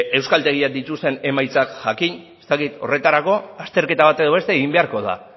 euskaltegiek dituzten emaitzak jakin ez dakit horretarako azterketa bat edo beste egin beharko da